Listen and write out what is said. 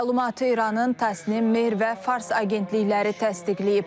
Məlumatı İranın Təsnim, Mehr və Fars agentlikləri təsdiqləyib.